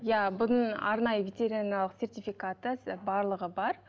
иә бұның арнайы ветеринарлық сертификаты барлығы бар